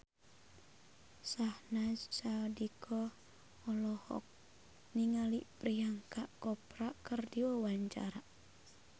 Syahnaz Sadiqah olohok ningali Priyanka Chopra keur diwawancara